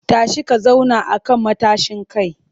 Tashi ka zauna a kan matashin kai!